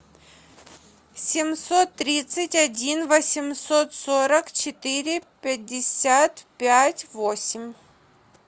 семьсот тридцать один восемьсот сорок четыре пятьдесят пять восемь